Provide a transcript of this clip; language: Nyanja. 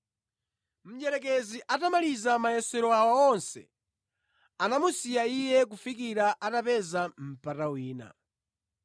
Mdierekezi atamaliza mayesero awa onse, anamusiya Iye kufikira atapeza mpata wina.